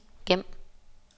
gem